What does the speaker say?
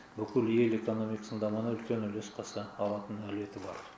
бүкіл ел экономикасының дамуына үлес қоса алатынына реті бар